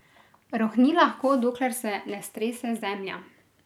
Rohni lahko, dokler se ne strese zemlja.